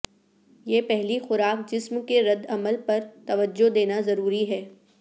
یہ پہلی خوراک جسم کے رد عمل پر توجہ دینا ضروری ہے